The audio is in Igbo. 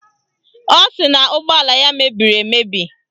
Ọ sị na ụgbọala ya mebiri emebi